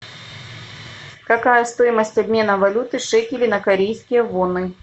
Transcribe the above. какая стоимость обмена валюты шекели на корейские воны